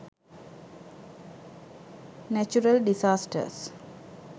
natural disasters